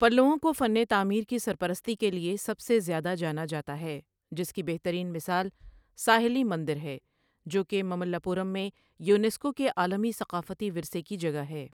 پلؤوں کو فن تعمیر کی سرپرستی کے لیے سب سے زیادہ جانا جاتا ہے، جس کی بہترین مثال ساحلی مندر ہے، جو کہ مملہ پورم میں یونیسکو کے عالمی ثقافتی ورثے کی جگہ ہے۔